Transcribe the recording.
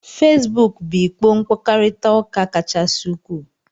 Fesbuku bu ikpo mkpakorita uka kachasị ukwuu